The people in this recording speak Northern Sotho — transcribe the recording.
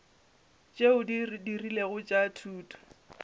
tšeo di rilego tša thuto